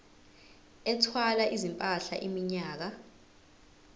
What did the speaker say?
ethwala izimpahla iminyaka